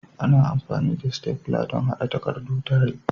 Ana amfani da stafla don haɗa takardu tare.